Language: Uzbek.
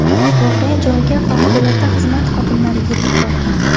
Voqea joyiga favqulodda xizmat xodimlari yetib borgan.